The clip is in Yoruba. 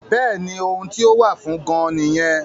Bẹ́ẹ̀ni ohun tí ó wà fún gan-an nìyẹn